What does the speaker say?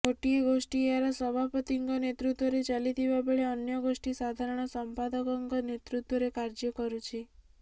ଗୋଟିଏ ଗୋଷ୍ଠୀ ଏହାର ସଭାପତିଙ୍କ ନେତୃତ୍ୱରେ ଚାଲିଥିବା ବେଳେ ଅନ୍ୟ ଗୋଷ୍ଠୀ ସାଧାରଣ ସଂପାଦକଙ୍କ ନେତୃତ୍ୱରେ କାର୍ଯ୍ୟ କରୁଛି